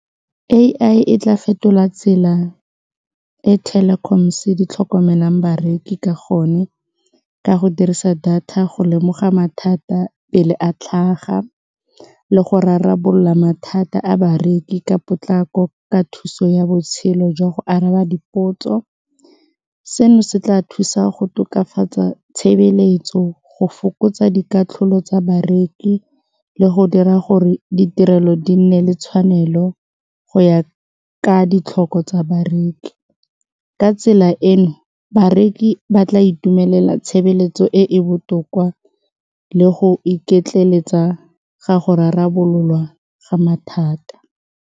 A_I e tla fetola tsela e telecoms di tlhokomelang bareki ka gone ka go dirisa data go lemoga mathata pele a tlhaga le go rarabolola mathata a bareki ka potlako ka thuso ya botshelo jwa go araba dipotso, seno se tla thusa go tokafatsa tshebeletso go fokotsa dikatlholo tsa bareki le go dira gore ditirelo di nne le tshwanelo go ya ka ditlhokwa tsa bareki ka tsela eno bareki ba tla itumelela tshebeletso e e botoka le go iketleletsa ga go rarabololwa ga mathata.